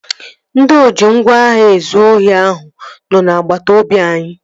Ndị oji ngwá agha ezụ ohi ahụ nọ n'agbata obi anyị